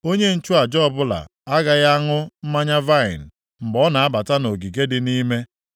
Onye nchụaja ọbụla agaghị aṅụ mmanya vaịnị mgbe ọ na-abata nʼogige dị nʼime.